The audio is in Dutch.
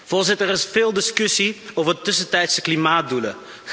Voorzitter, er is veel discussie over tussentijdse klimaatdoelen.